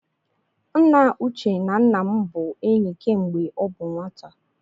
Nna Uche na nna m bụ enyi kemgbe ọ bụ nwata